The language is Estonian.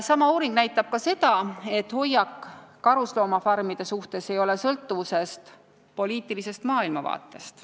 Sama uuring näitab ka seda, et hoiak karusloomafarmide suhtes ei ole sõltuvuses poliitilisest maailmavaatest.